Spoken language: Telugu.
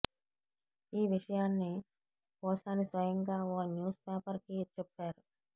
ఈ విషయాన్ని పోసాని స్వయంగా ఓ న్యూస్ పేపర్ కి చెప్పారు